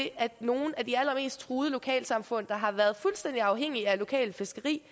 at nogle af de allermest truede lokalsamfund der har været fuldstændig afhængige af lokalt fiskeri